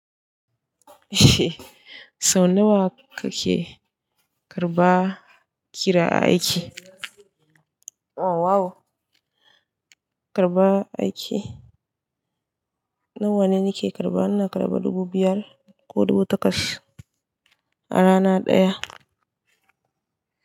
Sau nawa kake karba kira a aiki? O wow! Karba aiki, nawa ne nake karba? Ina karba dubu biyar ko dubu takwas a rana ɗaya.